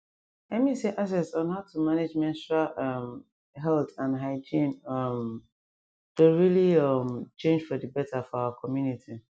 i mean say access on how to manage menstrual um health and hygiene um doh really um change for d better for our community